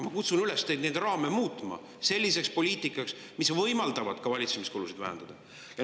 Ma kutsun üles teid neid raame muutma, et poliitika võimaldaks ka valitsemiskulusid vähendada.